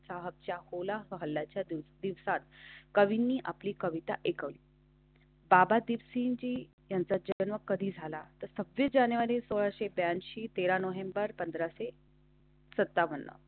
साहेबच्या कोलाहलाच्या दिवसात कवींनी आपली कविता एक. बाबा दिवशी जी यांचा चिकन कधी झाला तर सहावीस जानेवारी सोळा एक ऐंशी तेरा नोव्हेंबरपाच से. सत्तावन्न.